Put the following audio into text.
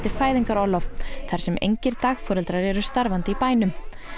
fæðingarorlof þar sem engir dagforeldrar eru starfandi í bænum